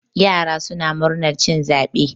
yara suna murnar cin zaɓe